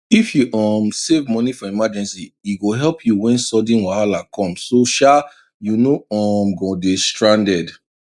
if you um save money for emergency e go help you when sudden wahala come so um you no um go dey stranded